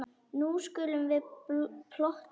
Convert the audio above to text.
Nú skulum við plotta.